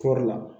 Kɔri la